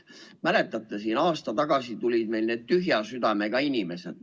Mäletate, aasta tagasi tulid meil need tühja südamega inimesed.